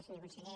senyor conseller